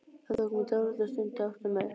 Það tók mig dálitla stund að átta mig.